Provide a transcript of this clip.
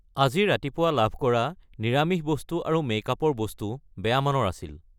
আজি ৰাতিপুৱা লাভ কৰা নিৰামিষ বস্তু আৰু মেকআপৰ বস্তু বেয়া মানৰ আছিল।